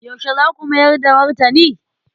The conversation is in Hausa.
Yaushe za ku mayar da martani?